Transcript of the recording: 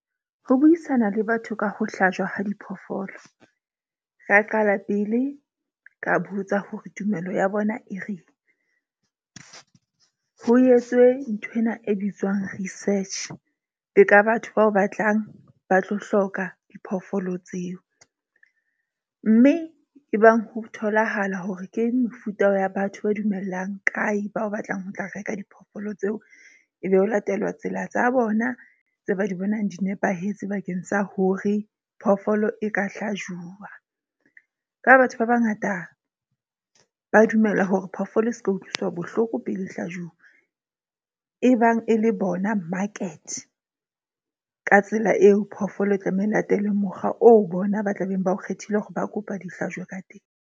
Ho buisana le batho ka ho hlajwa ha diphoofolo. Ra qala pele ka botsa hore tumelo ya bona e reng. Ho etswe nthwena e bitswang research le ka batho bao batlang ba tlo hloka diphoofolo tseo. Mme e bang ho tholahala hore ke mefuta ya batho ba dumellang kae bao batlang ho tla reka diphoofolo tseo. E be ho latela tsela tsa bona tse ba di bonang di nepahetse bakeng sa hore phoofolo e ka hlajuwa. Ka batho ba bangata ba dumela hore phoofolo e seka utlwiswa bohloko pele e hlajuwa. E bang e le bona market. Ka tsela eo, phoofolo e tlameha e latelwe mokgwa oo bona ba tlabeng ba o kgethile hore ba kopa di hlajwe ka teng.